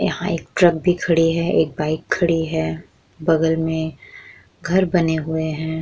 यहाँ एक ट्रक खड़ी है एक बाइक भी खड़ी है बगल में घर बने हुए है।